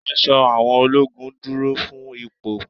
Aṣọ àwọn ológun dúró fún ipò.